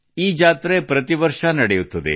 ಈ ಜಾತ್ರೆ ಪ್ರತಿವರ್ಷ ನಡೆಯುತ್ತದೆ